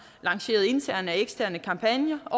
lanceret interne og eksterne kampagner